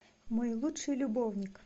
мой лучший любовник